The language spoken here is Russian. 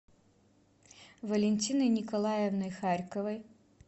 валентиной николаевной харьковой